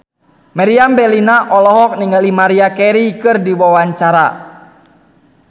Meriam Bellina olohok ningali Maria Carey keur diwawancara